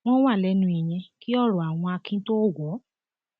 wọn wà lẹnu ìyẹn kí ọrọ àwọn akin tóo wọ ọ